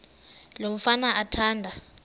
lo mfana athanda